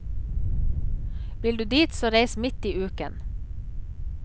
Vil du dit, så reis midt i uken.